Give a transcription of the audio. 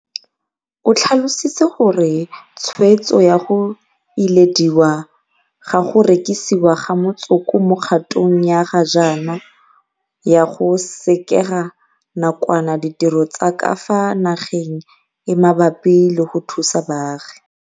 O tlhalositse gore tshwetso ya go ilediwa ga go rekisiwa ga motsoko mo kgatong ya ga jaana ya go sekega nakwana ditiro tsa ka fa nageng e mabapi le go thusa baagi.